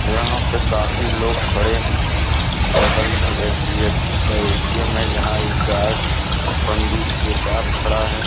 यहां पे काफी लोग खड़े हैं बगल में एच_डी_एफ_सी का ए_टी_एम है जहां एक गार्ड बंदूक के साथ खड़ा है।